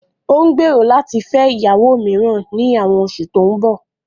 Ó ń gbèrò láti fẹ́ ìyàwó mìíràn ní àwọn oṣù tó ń bọ̀